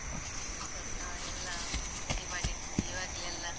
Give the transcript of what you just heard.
ಸರಿ. ಅಹ್ ಎಲ್ಲ ready ಮಾಡಿದ್ತಿವಿ ಈವಾಗ್ಲೇ ಎಲ್ಲ.